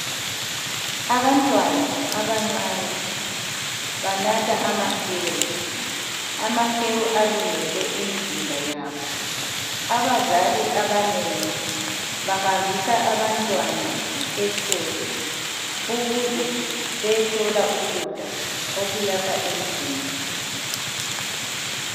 Abantwana abancane banatha amahewu, amahewu alungele imizimba yabo abazali abanengi bahambisa abantwana esikolo ukuze beyethola ukudla okuyakha imizimba.